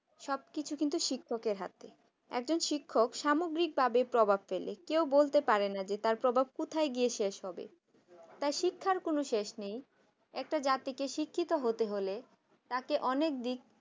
সবকিছু কিন্তু শিক্ষকের হাতে একজন শিক্ষক সামগ্রিকভাবে প্রভাব ফেলে কেউ বলতে পারে না যে তার প্রভাব কোথায় গিয়ে শেষ হবে তার শিক্ষার কোন শেষ নেই একটা জাতিকে শিক্ষিত হতে হলে তাকে অনেক দিক